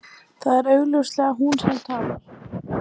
Það er augljóslega hún sem talar.